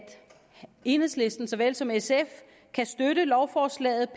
enhedslisten såvel som sf kan støtte lovforslaget